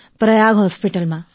પ્રયાગ હોસ્પિટલમાં